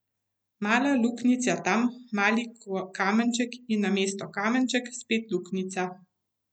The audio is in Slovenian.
Mala luknjica tam, mali kamenček in namesto kamenčka spet luknjica.